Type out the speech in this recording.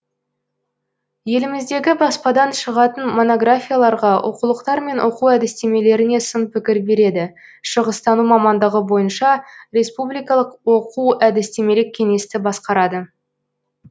еліміздегі баспадан шығатын монографияларға оқулықтар мен оқу әдістемелеріне сын пікір береді шығыстану мамандығы бойынша республикалық оқу әдістемелік кеңесті басқарады